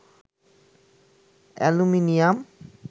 aluminium